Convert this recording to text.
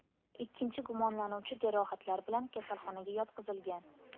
Ikkinchi gumonlanuvchi jarohatlar bilan kasalxonaga yotqizilgan.